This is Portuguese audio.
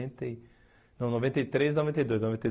e, não noventa e três, noventa e dois, noventa e